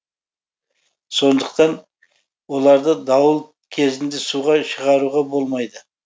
сондықтан оларды дауыл кезінде суға шығаруға болмайды